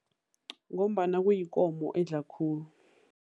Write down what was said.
Ngombana kuyikomo edla khulu.